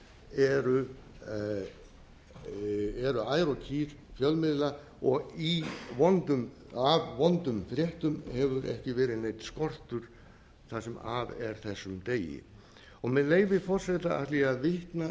eru ær og kýr fjölmiðla og af vondum fréttum hefur ekki verið neitt skortur það sem af er þessum degi og með leyfi forseta ætla ég að vitna